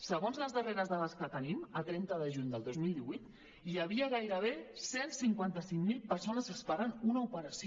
segons les darreres dades que tenim a trenta de juny del dos mil divuit hi havia gairebé cent i cinquanta cinc mil persones esperant una operació